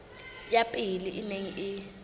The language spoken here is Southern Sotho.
ya pele e neng e